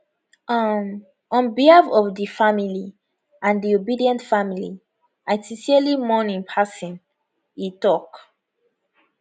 um on behalf of di family and di obidient family i sincerely mourn im passing e tok